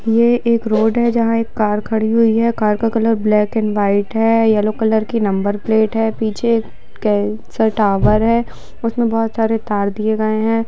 यह एक रोड है जहां एक कर खड़ी हुई है कार का कलर ब्लैक एंड व्हाइट है येलो कलर के नंबर प्लेट है पीछे के-अ-टावर है उसमें बहुत सारे तार दिए गए हैं।